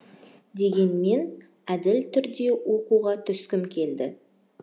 дегенмен әділ түрде оқуға түскім келді